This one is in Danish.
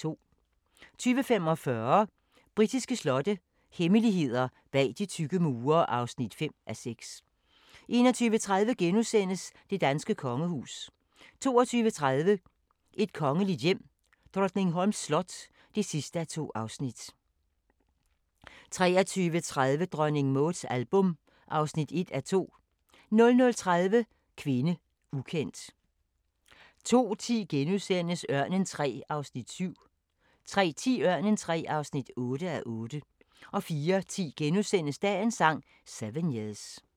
20:45: Britiske slotte – hemmeligheder bag de tykke mure (5:6) 21:30: Det danske kongehus * 22:30: Et kongeligt hjem: Drottningholms slot (2:2) 23:30: Dronning Mauds album (1:2) 00:30: Kvinde, ukendt 02:10: Ørnen III (7:8)* 03:10: Ørnen III (8:8) 04:10: Dagens Sang: 7 years *